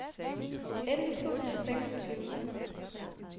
elleve tusind og seksogtyve